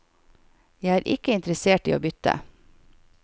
Jeg er ikke interessert i å bytte.